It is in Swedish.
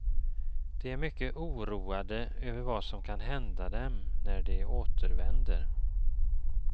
De är mycket oroade över vad som kan hända dem när de återvänder.